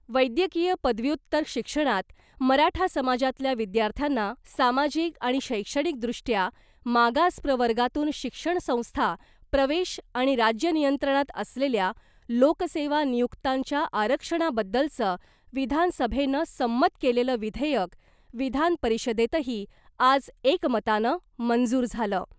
वैद्यकीय पदव्युत्तर शिक्षणात मराठा समाजातल्या विद्यार्थ्यांना सामाजिक आणि शैक्षणिकदृष्ट्या मागास प्रवर्गातून शिक्षण संस्था प्रवेश आणि राज्य नियंत्रणात असलेल्या लोकसेवा नियुक्त्यांच्या आरक्षणाबद्दलचं विधानसभेनं संमत केलेलं विधेयक विधानपरिषदेतही आज एकमतानं मंजूर झालं .